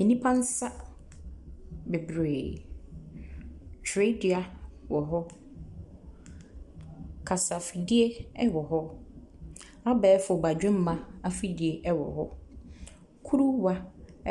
Ɛnipa nsa bebree. Twerɛdua wɔ hɔ, kasafidie ɛwɔ hɔ, abɛɛfo badwemma afidie ɛwɔ hɔ, kuruwa